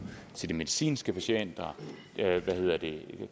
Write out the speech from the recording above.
til de medicinske patienter